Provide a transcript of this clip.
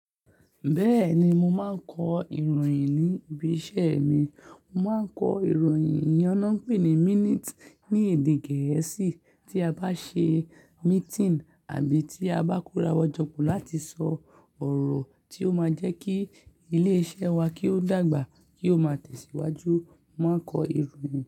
Bẹ́ẹ̀ni, mo máa ń kọ ìròyìn ní ibi iṣẹ́ mi. Mo má ń kọ ìròyìn, ìyẹn na n pè ní minute ní èdè gẹ̀ẹ́sì tí a bá ṣe meeting àbí tí a bá kórawọ́ jọ pọ̀ láti sọ ọ̀rọ̀ tí ó máa jẹ́ kí ilé iṣẹ́ wa kí ó dàgbà, kí ó máa tẹ̀síwájú, mo máa ń kọ ìròyìn.